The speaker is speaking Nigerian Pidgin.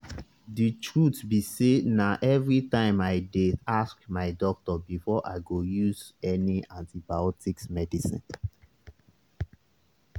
the truth be sayna everytime i dey ask my doctor before i go use any antibiotics medicine